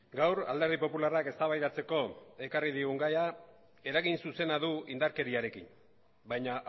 gaur alderdi popularrak eztabaidatzeko ekarri digun gaia eragin zuzena du indarkeriarekin baina